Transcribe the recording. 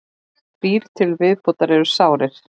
Þrír til viðbótar eru sárir